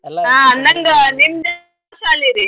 ಹಾ ಅಂದಂಗ ನಿಮ್ದ್ ಯಾವ್ ಶಾಲಿ ರೀ ?